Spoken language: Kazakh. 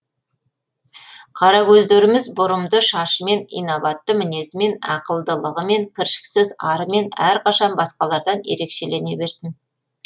қаракөздеріміз бұрымды шашымен инабатты мінезімен ақылдылығымен кіршіксіз арымен әрқашан басқалардан ерекшелене берсін